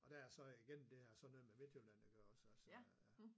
Og der er jeg så igennem det her sådan noget med Midtjylland iggås også så ja